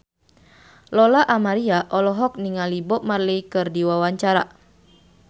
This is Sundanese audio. Lola Amaria olohok ningali Bob Marley keur diwawancara